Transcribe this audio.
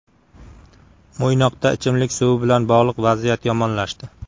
Mo‘ynoqda ichimlik suvi bilan bog‘liq vaziyat yomonlashdi .